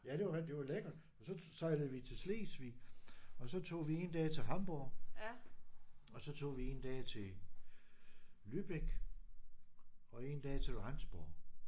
Ja det var det var lækkert. Så tog sejlede vi til Slesvig og så tog vi 1 dag til Hamborg og så tog vi 1 dag til Lübeck og 1 dag til Rendsborg